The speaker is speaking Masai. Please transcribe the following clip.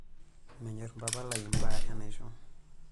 Menyorr mpapa lai mbaa enaisho.